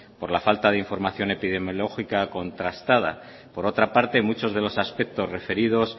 por la falta de información epidemiológica contrastada por otra parte muchos de los aspectos referidos